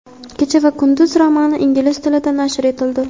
"Kecha va kunduz" romani ingliz tilida nashr etildi.